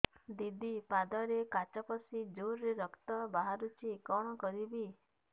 ଦିଦି ପାଦରେ କାଚ ପଶି ଜୋରରେ ରକ୍ତ ବାହାରୁଛି କଣ କରିଵି